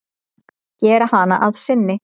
Gera hana að sinni.